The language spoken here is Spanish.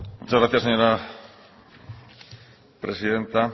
muchas gracias señora presidenta